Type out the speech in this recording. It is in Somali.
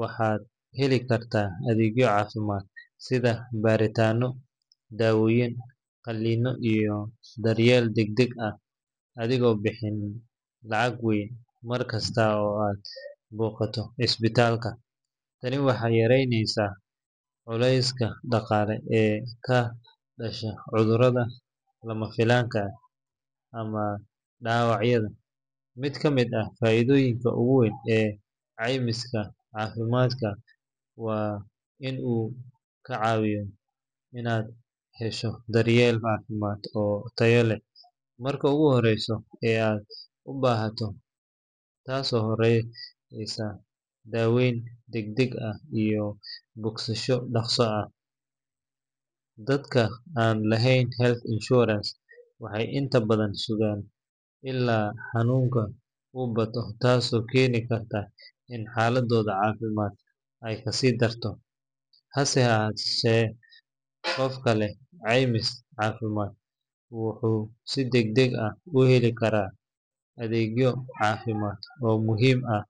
waxaad heli kartaa adeegyo caafimaad sida baaritaanno, daawooyin, qalliinno, iyo daryeel degdeg ah adigoon bixinin lacag weyn mar kasta oo aad booqato isbitaalka. Tani waxay yareyneysaa culayska dhaqaale ee ka dhasha cudurada lama filaanka ah ama dhaawacyada. Mid ka mid ah faa’iidooyinka ugu weyn ee caymiska caafimaad waa in uu kaa caawinayo inaad hesho daryeel caafimaad oo tayo leh marka ugu horeysa ee aad u baahato, taasoo horseedaysa daaweyn degdeg ah iyo bogsasho dhakhso ah. Dadka aan lahayn health insurance waxay inta badan sugaan illaa xanuunka uu bato, taasoo keeni karta in xaaladdooda caafimaad ay kasii darto. Hase yeeshee, qofka leh caymis caafimaad wuxuu si degdeg ah u heli karaa adeegyo caafimaad oo muhiim ah.